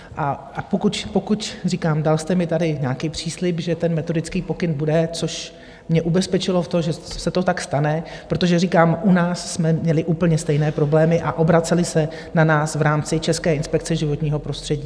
A pokud, říkám, dal jste mi tady nějaký příslib, že ten metodický pokyn bude, což mě ubezpečilo v tom, že se to tak stane, protože říkám, u nás jsme měli úplně stejné problémy a obraceli se na nás v rámci České inspekce životního prostředí.